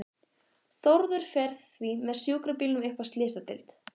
Þórður fer því með sjúkrabílnum upp á slysadeild.